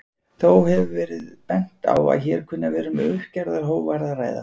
Þó hefur verið bent á að hér kunni að vera um uppgerðar hógværð að ræða.